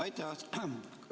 Aitäh!